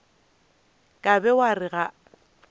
ka be wa re ga